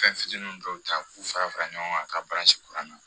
Fɛn fitinin dɔw ta k'u fara fara ɲɔgɔn ka baransi kuran na